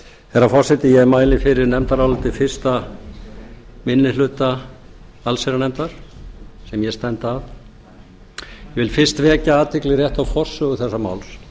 herra forseti ég mæli fyrir nefndaráliti fyrsti minni hluta allsherjarnefndar sem ég stend að ég vil fyrst vekja athygli rétt á forsögu þessa máls